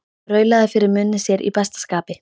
Raulaði fyrir munni sér í besta skapi.